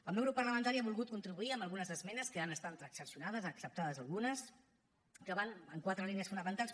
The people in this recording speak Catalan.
el meu grup parlamentari ha volgut contribuir amb algunes esmenes que han estat transaccionades acceptades algunes que van en quatre línies fonamentals